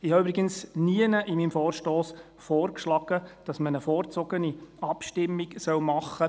Ich habe übrigens nirgends in meinem Vorstoss vorgeschlagen, eine vorgezogene Abstimmung durchzuführen.